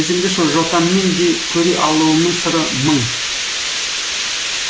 өзіңді жотаммен де көре алуымның сыры мың